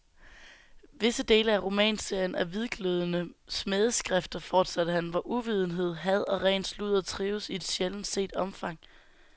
Visse dele af romanserien er hvidglødende smædeskrifter, fortsatte han, hvor uvidenhed, had og ren sludder trives i et sjældent set omfang.